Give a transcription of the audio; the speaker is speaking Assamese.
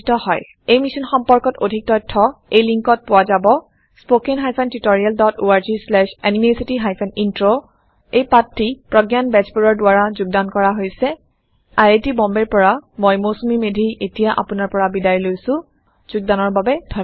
এই অভিযান সম্পৰ্কে অধিক তথ্য এই লিংকত পোৱা যাব spoken hyphen tutorial dot org slash এনএমইআইচিত হাইফেন ইন্ট্ৰ এই পাঠটি প্ৰগয়ান বেজবৰুৱাই যোগদান কৰিছে আই আই টী বম্বে ৰ পৰা মই মৌচুমী মেধী এতিয়া আপুনাৰ পৰা বিদায় লৈছো যোগদানৰ বাবে ধন্যবাদ